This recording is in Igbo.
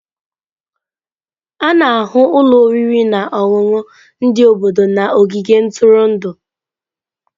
A na-ahụ ụlọ oriri na ọṅụṅụ ndị obodo na ogige ntụrụndụ.